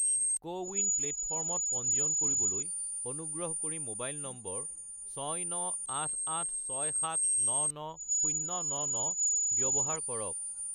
CoWIN প্লে'টফৰ্মত পঞ্জীয়ন কৰিবলৈ অনুগ্ৰহ কৰি মোবাইল নম্বৰ 69886799099 ব্যৱহাৰ কৰক